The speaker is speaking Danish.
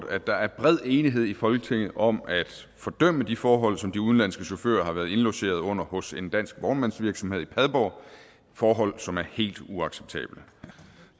at der er bred enighed i folketinget om at fordømme de forhold som de udenlandske chauffører har været indlogeret under hos en dansk vognmandsvirksomhed i padborg forhold som er helt uacceptable